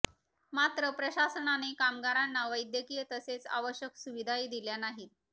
मात्र प्रशासनाने कामगारांना वैद्यकीय तसेच आवश्यक सुविधाही दिलेल्या नाहीत